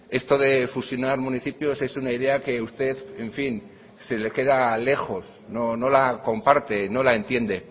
esto de fusionar municipios es una idea que usted en fin se le queda lejos no la comparte no la entiende